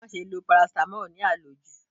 Má ṣe lọ parasítámọ̀ ní àlòjù.